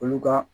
Olu ka